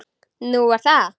Nú, er það?